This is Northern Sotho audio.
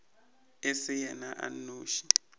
e se yena a nnoši